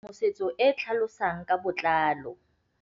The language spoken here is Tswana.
Tlhalefô o batla tshedimosetsô e e tlhalosang ka botlalô.